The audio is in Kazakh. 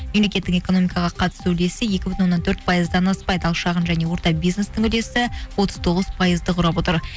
мемлекеттік экономикаға қатысу үлесі екі бүтін оннан төрт пайыздан аспайды ал шағын және орта бизнестің үлесі отыз тоғыз пайызды құрап отыр